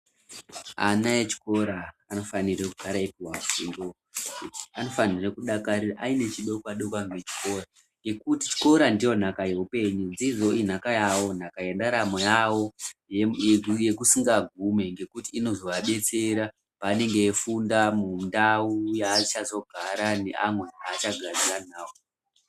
Ana echikora anofanire kugara eipuwa fundo anofanire kudakari aine chidokwa dokwa nechikora nekuti chikora ndonhaka yeupenyu dzidzo inhaka yawo Nhaka yendaramo yawo yemu yekusingagume ngekuti inozovadetsera pavanenge veifunda mundau yaachazogara neamwe aachagarisane nawo.